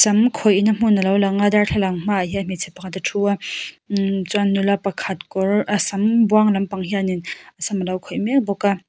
sam khawih na hmun alo lang a darthlalang hmaah hian hmeichhe pakhat a thu a chuan nula pakhat kawr a sam buang lampang hian a sam alo khawih mek bawk a.